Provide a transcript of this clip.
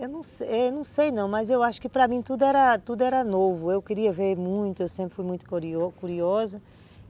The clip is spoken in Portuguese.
Eu não sei não, mas eu acho que para mim tudo era tudo era novo, eu queria ver muito, eu sempre fui muito cu curiosa.